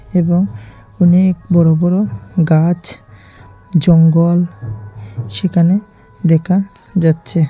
এবং অনেক বড় বড় গাছ জঙ্গল সেখানে দেখা যাচ্ছে।